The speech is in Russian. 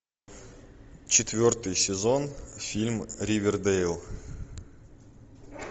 четвертый сезон фильм ривердэйл